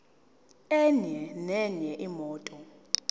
enye nenye imoto